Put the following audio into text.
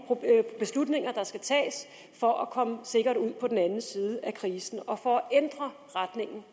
beslutninger der skal tages for at komme sikkert ud på den anden side af krisen og for at ændre retningen